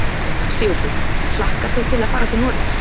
Sigurður: Hlakkar þig til að fara til Noregs?